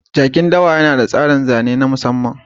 Jakin dawa yana da tsarin zane na musamman